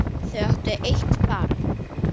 Þau áttu eitt barn.